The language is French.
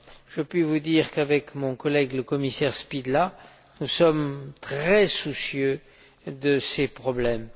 Je puis vous dire qu'avec mon collègue, le commissaire Špidla, nous sommes très soucieux de ces problèmes.